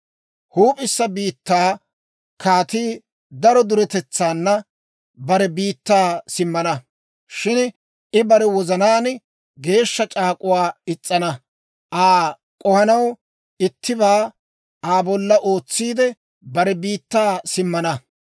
«Huup'issa biittaa kaatii daro duretetsaana bare biittaa simmana. Shin I bare wozanaan geeshsha c'aak'uwaa is's'ana. Aa k'ohanaw ittibaa Aa bolla ootsiide, bare biittaa simmana.